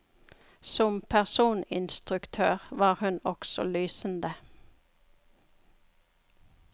Som personinstruktør var hun også lysende.